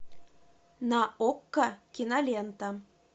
на окко кинолента